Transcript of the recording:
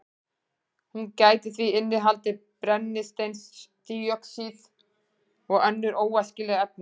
Hún gæti því innihaldið brennisteinsdíoxíð og önnur óæskileg efni.